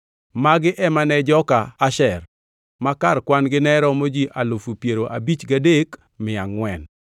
Magi ema ne joka Asher; ma kar kwan-gi ne romo ji alufu piero abich gadek mia angʼwen (53,400).